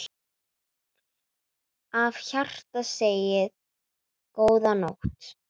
Af hjarta segið: GÓÐA NÓTT.